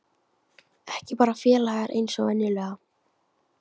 Ekki bara félagar eins og venjulega.